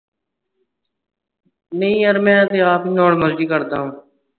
ਨੀ ਯਾਰ ਮੈਂ ਤੇ ਆਪ normal ਜੀ ਕਰਦਾ